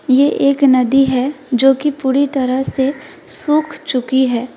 ये एक नदी है जो कि पूरी तरह से सूख चुकी है।